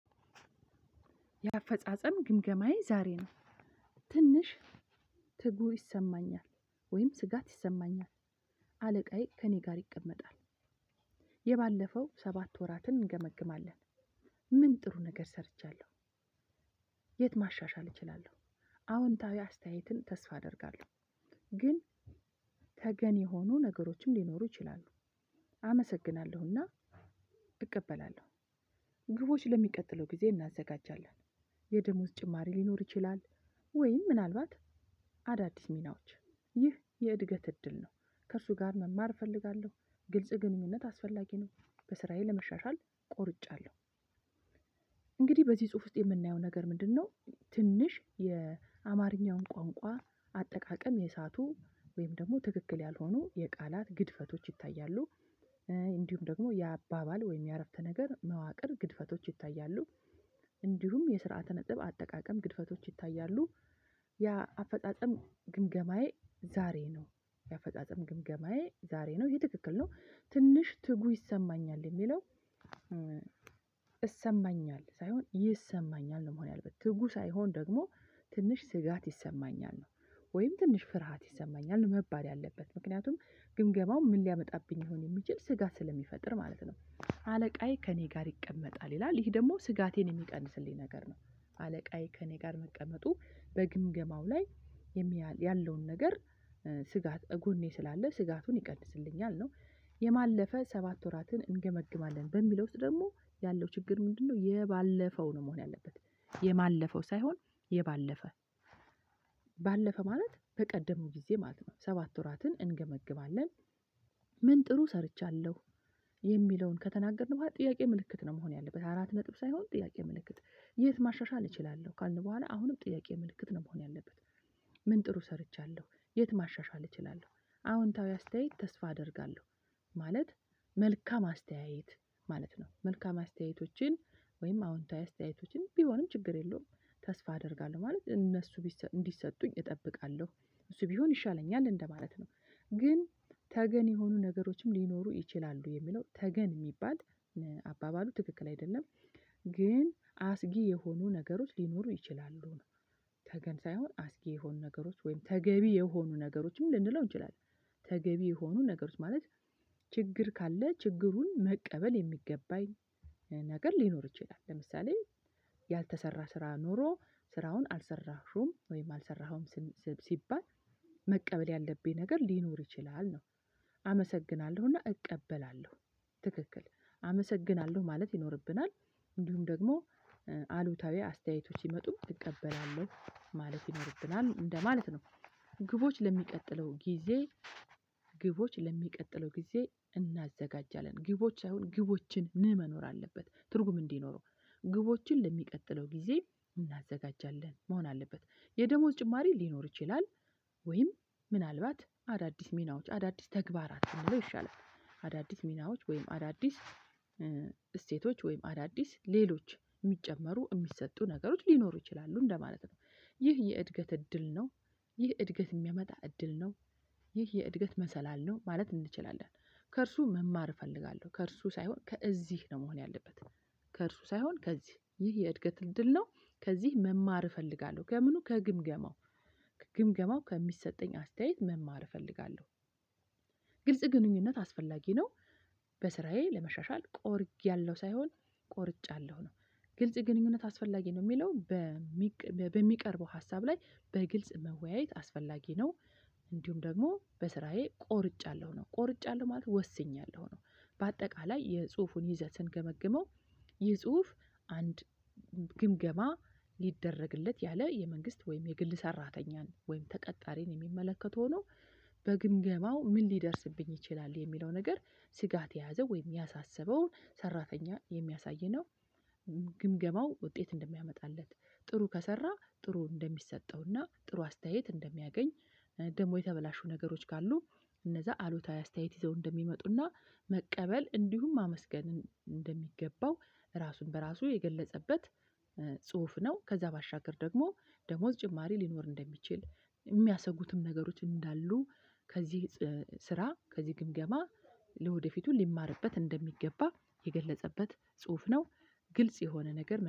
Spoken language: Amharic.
የአፈጻጸም ግምገማዬ ዛሬ ነው። ትንሽ ትጉ ይሰማኛል ወይም ስጋት ይሰማኛል አለቃዬ ከእኔ ጋር ይቀመጣል። የባለፈው ሰባት ወራትን እንገመግማለን። ምን ጥሩ ነገር ሰርቻለሁ። የት ማሻሻል እችላለሁ። አዎንታዊ አስተያየትን ተስፋ አደርጋለሁ። ግን ተገን የሆኑ ነገሮችም ሊኖሩ ይችላሉ። አመሰግናለሁና እቀበላለሁ። ግቦች ለሚቀጥለው ጊዜ እናዘጋጃለን። የደሞዝ ጭማሪ ሊኖር ይችላል። ወይም ምናልባት አዳዲስ ሚናዎች ይህ የእድገት እድል ነው። ከእርሱ ጋር መማር እፈልጋለሁ። ግልጽ ግንኙነት አስፈላጊ ነው። በስራዬ ለመሻሻል ቆርጫለሁ። እንግዲህ በዚህ ጽሁፍ ውስጥ የምናየው ነገር ምንድነው? ትንሽ የአማርኛውን ቋንቋ አጠቃቀም የእሳቱ ወይም ደግሞ ትክክል ያልሆኑ የቃላት ግድፈቶች ይታያሉ። እንዲሁም ደግሞ የአባባል ወይም የአረፍተ ነገር መዋቅር ግድፈቶች ይታያሉ። እንዲሁም የስርዓተ ነጥብ አጠቃቀም ግድፈቶች ይታያሉ። ያ አፈጻጸም ግምገማዬ ዛሬ ነው። የአፈጻጸም ግምገማዬ ዛሬ ነው ይሄ ትክክል ነው ትንሽ ትጉ ይሰማኛል የሚለው። እሰማኛል ሳይሆን ይሰማኛል ነው መሆን ያለበት ትጉ ሳይሆን ደግሞ ትንሽ ስጋት ይሰማኛል። ወይም ትንሽ ፍርሃት ይሰማኛል መባል ያለበት ምክንያቱም ግምገማው ምን ሊያመጣብኝ ይሆን የሚችል ስጋት ስለሚፈጥር ማለት ነው። አለቃዬ ከእኔ ጋር ይቀመጣል ይላል ይሄ ደግሞ ስጋቴን የሚቀንስልኝ ነገር ነው። አለቃዬ ከእኔ ጋር መቀመጡ በግምገማው ላይ ያለውን ነገር ስጋት እጎኔ ስላለ ስጋትን ይቀንስልኛል ነው የማለፈ ሰባት ወራትን እንገመግማለን በሚለው ውስጥ ደግሞ ያለው ችግር ምንድነው? የባለፈው ነው መሆን ያለበት የማለፈው ሳይሆን የባለፈ ባለፈ ማለት በቀደሙ ጊዜ ማለት ነው። ሰባት ወራትን እንገመግማለን። ምን ጥሩ ሰርቻለሁ? የሚለውን ከተናገርን በኋላ ጥያቄ ምልክት ነው መሆን ያለበት አራት ነጥብ ሳይሆን ጥያቄ ምልክት። የት ማሻሻል እችላለሁ ካልን በኋላ አሁንም ጥያቄ ምልክት ነው መሆን ያለበት። ምን ጥሩ ሰርቻለሁ የት ማሻሻል እችላለሁ አዎንታዊ አስተያየት ተስፋ አደርጋለሁ። ማለት መልካም አስተያየት ማለት ነው። መልካም አስተያየቶችን ወይም አዎንታዊ አስተያየቶችን ቢሆንም ችግር የለውም። ተስፋ አደርጋለሁ ማለት እነሱ እንዲሰጡኝ እጠብቃለሁ እሱ ቢሆን ይሻለኛል እንደማለት ነው። ግን ተገን የሆኑ ነገሮችም ሊኖሩ ይችላሉ የሚለው ተገን የሚባል። አባባሉ ትክክል አይደለም። ግን አስጊ የሆኑ ነገሮች ሊኖሩ ይችላሉ ነው። ተገን ሳይሆን አስጊ የሆኑ ነገሮች ወይም ተገቢ የሆኑ ነገሮችም ልንለው እንችላለን። ተገቢ የሆኑ ነገሮች ማለት ችግር ካለ ችግሩን መቀበል የሚገባኝ ነገር ሊኖር ይችላል። ለምሳሌ ያልተሰራ ስራ ኖሮ ስራውን አልሰራሽም ወይም አልሰራኸውም ስም ሲባል መቀበል ያለብኝ ነገር ሊኖር ይችላል ነው። አመሰግናለሁና እቀበላለሁ ትክክል አመሰግናለሁ ማለት ይኖርብናል። እንዲሁም ደግሞ አሉታዊ አስተያየቶች ይመጡ እቀበላለሁ ማለት ይኖርብናል እንደማለት ነው። ግቦች ለሚቀጥለው ጊዜ። ግቦች ለሚቀጥለው ጊዜ እናዘጋጃለን ግቦች ሳይሆን ግቦችን መኖር አለበት ትርጉም እንዲኖረው ግቦችን ለሚቀጥለው ጊዜ እናዘጋጃለን መሆን አለበት። የደሞዝ ጭማሪ ሊኖር ይችላል። ወይም ምናልባት አዳዲስ ሚናዎች አዳዲስ ተግባራት የሚለው ይሻላል። ሚናዎች ወይም አዳዲስ እሴቶች ወይም አዳዲስ ሌሎች ሚጨመሩ ሚሰጡ ነገሮች ሊኖሩ ይችላሉ እንደማለት ነው። ይህ የእድገት እድል ነው። ይህ እድገት የሚያመጣ እድል ነው። ይህ የእድገት መሰላል ነው ማለት እንችላለን። ከእርሱ መማር እፈልጋለሁ ከእርሱ ሳይሆን ከእዚህ ነው መሆን ያለበት። ከእርሱ ሳይሆን ከዚህ ይህ የእድገት እድል ነው። ከዚህ መማር እፈልጋለሁ ከምኑ ከግምገማው ግምገማው ከሚሰጠኝ አስተያየት መማር እፈልጋለሁ። ግልጽ ግንኙነት አስፈላጊ ነው። በስራዬ ለመሻሻል ቆርጌያለሁ ሳይሆን ቆርጫለሁ ነው። ግልጽ ግንኙነት አስፈላጊ ነው የሚለው። በሚቀርበው ሀሳብ ላይ በግልጽ መወያየት አስፈላጊ ነው። እንዲሁም ደግሞ በስራዬ ቆርጫለሁ ነው ቆርጫለሁ ማለት ነው ወስኛለሁ ነው። በአጠቃላይ የጽሁፉን ይዘት ስንገመግመው ይህ ጽሁፍ አንድ ግምገማ ሊደረግለት ያለ የመንግስት ወይም የግል ሰራተኛን ወይም ተቀጣሪን የሚመለከት ሁኖ በግምገማው ምን ሊደርስብኝ ይችላል የሚለው ነገር ስጋት የያዘ ወይም ያሳሰበው ሰራተኛ የሚያሳይ ነው። ግምገማው ውጤት እንደሚያመጣለት ጥሩ ከሰራ ጥሩ እንደሚሰጠውና ጥሩ አስተያየት እንደሚያገኝ። ደግሞ የተበላሹ ነገሮች ካሉ እነዛ አሉታዊ አስተያየት ይዘው እንደሚመጡና መቀበል እንዲሁም ማመስገን እንደሚገባው ራሱን በራሱ የገለጸበት። ጽሁፍ ነው። ከዛ ባሻገር ደግሞ ደሞዝ ጭማሪ ሊኖር እንደሚችል ሚያሰጉትም ነገሮች እንዳሉ ከዚህ ስራ ከዚህ ግምገማ ለወደፊቱ ሊማርበት እንደሚገባ የገለጸበት ጽሁፍ ነው። ግልጽ የሆነ ነገር